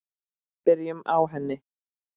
Byrjum á henni.